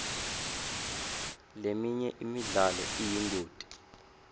leminye imidlalo iyingoti